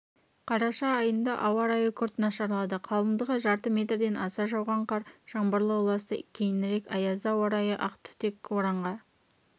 қараша айында ауа райы күрт нашарлады қалыңдығы жарты метрден аса жауған қар жаңбырға ұласты кейінірек аязды ауа райы ақ түтек боранға